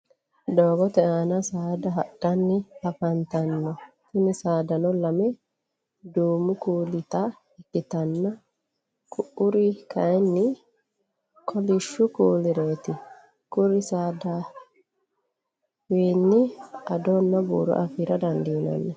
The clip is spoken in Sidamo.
doogote aanna saada hadhanni afanitanno tinni saadanno lamme duumu kulita ikitanna ku'uri kayinni kolishu kuulireeti kuri saadawinni addonna buuro afira dandiinanni.